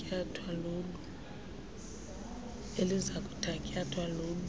eliza kuthatyathwa lolu